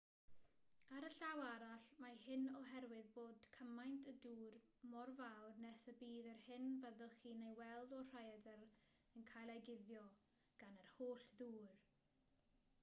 ar y llaw arall mae hyn oherwydd bod cyfaint y dŵr mor fawr nes y bydd yr hyn fyddwch chi'n ei weld o'r rhaeadr yn cael ei guddio gan yr holl ddŵr